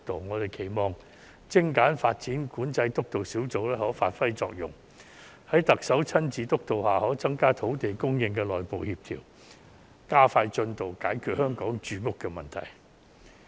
我期望精簡發展管制督導小組可以發揮作用，在特首親自督導下可在土地供應方面的加強內部協調，加快進度解決香港的住屋問題。